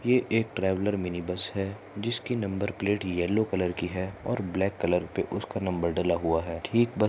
ये एक traveller mini bus है जिसकी नंबर प्लेट येल्लो कलर की है और ब्लॅक कलर पे उसका नंबर डला हुआ है। ठीक बस --